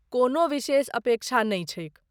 कोनो विशेष अपेक्षा नै छैक।